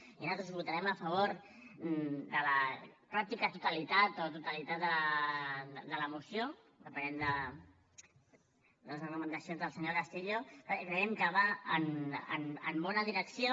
i nosaltres votarem a favor de la pràctica totalitat o totalitat de la moció depenent de les argumentacions del senyor castillo perquè creiem que va en bona direcció